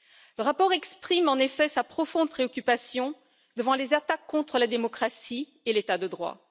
Le rapport exprime, en effet, sa profonde préoccupation devant les attaques contre la démocratie et l'état de droit.